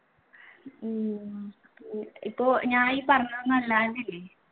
ഉം ഇപ്പൊ ഞാൻ ഈ പറഞ്ഞതൊന്നും